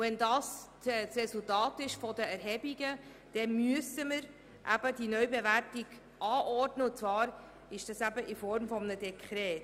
Wenn Erhebungen das bestätigen, müssen wir eine Neubewertung anordnen und zwar in Form eines Dekrets.